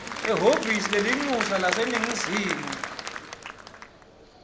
ehhovisi lelincusa laseningizimu